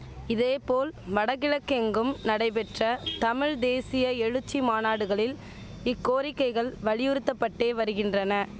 இதேபோல் வடகிழக்கெங்கும் நடைபெற்ற தமிழ் தேசிய எழுச்சி மாநாடுகளில் இக்கோரிக்கைகள் வலியுறுத்தபட்டே வருகின்றன